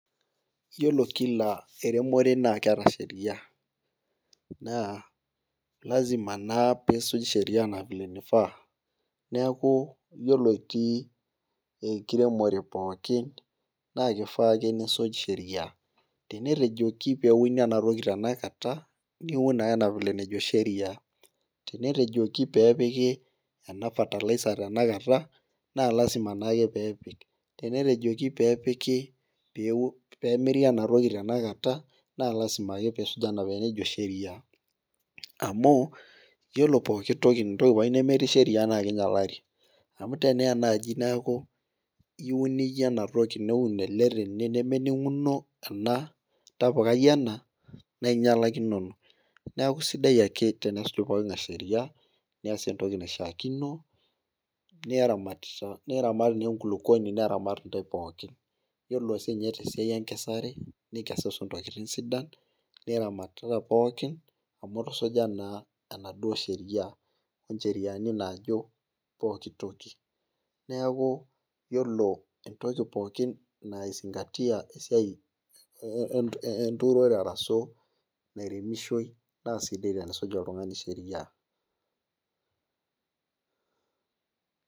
Iyiolo Kila eromore naa keeta Sheria naa, iyiolo lasima naa piisuj Sheria vile nifaa, neeku iyiolo itii enkiremore pookin, naa kifaa ake nisuj Sheria, tenetejoki peeuni ena toki tenakata niun naa enaa vile nejo sheria. tenetejoki peepiki ena fertilizer tenakata naa lasima naake peepiki, tenetejoki peepiki, peemiri ena toki tenakata, naa lasima ake pee isuj anaa enajo sheria. amu iyiolo pooki toki ,entoki pooki nemetii sheria naa king'ialari. amu tenaa naaji neeku iun iyie ena toki neuni ele tene nemeninguno ena tapukai ena naa ingialakinono. neekj sidai ake tensuj pooki ng'ae sheria, neesie entoki naishaakino. niramat naa enkulupuoni te pooki. iyiolo sii ninye tesiai enkesare, ninkesusus. ntokitin sidan. niramatata pookin amu itusuja naa enaduoo Sheria .incheriani naajo pooki toki. neeku iyiolo entoki pookin nai zingatia esiai enturore arashu nairemishoi naa sidai tenesuj oltungani Sheria.